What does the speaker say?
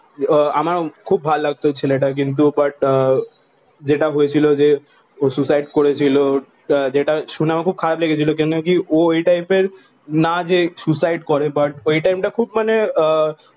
আহ আমার খুব ভালো লাগতো ছেলে টা কিন্তু বাট আহ যেটা হয়েছিল যে ও সুইসাইড করেছিল যেটা শুনে আমার খুব খারাপ লেগেছিলো কারণকি ও এই টিপের না যে সুইসাইড করে বাট ওই টাইম টা খুব মানে আহ